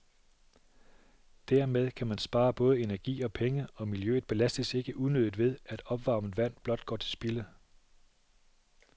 Dermed kan man spare både energi og penge, og miljøet belastes ikke unødigt ved, at opvarmet vand blot går til spilde.